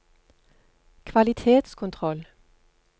kvalitetskontroll